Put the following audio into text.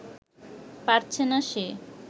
পারছে না সে